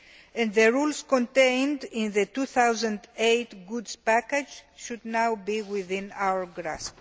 and the rules contained in the 2008 goods package' should now be within our grasp.